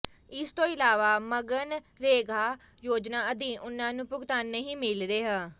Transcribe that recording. ਇਸ ਤੋਂ ਇਲਾਵਾ ਮਗਨਰੇਗਾ ਯੋਜਨਾ ਅਧੀਨ ਉਨ੍ਹਾਂ ਨੂੰ ਭੁਗਤਾਨ ਨਹੀਂ ਮਿਲ ਰਿਹਾ